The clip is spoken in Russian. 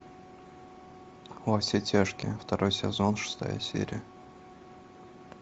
во все тяжкие второй сезон шестая серия